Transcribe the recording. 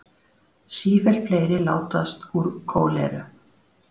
Sífellt fleiri látast úr kóleru